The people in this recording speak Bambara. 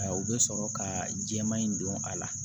U bɛ sɔrɔ ka jɛman in don a la